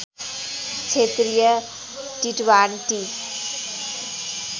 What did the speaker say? क्षेत्रीय टिट्वान्टी